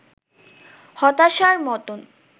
হতাশার মতোন